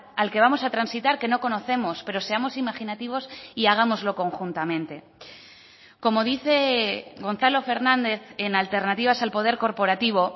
al que vamos a transitar que no conocemos pero seamos imaginativos y hagámoslo conjuntamente como dice gonzalo fernández en alternativas al poder corporativo